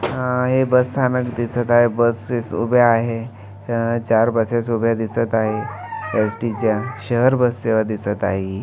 हे बसस्थानक दिसत आहे बसेस उभे आहे हा चार बसेस उभ्या दिसत आहे. एस_टी च्या शहर बस सेवा दिसत आहे ही.